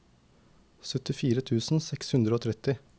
syttifire tusen seks hundre og tretti